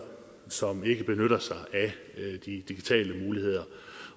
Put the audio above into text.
som ikke benytter sig af de digitale muligheder